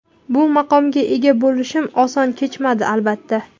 Bu maqomga ega bo‘lishim oson kechmadi, albatta.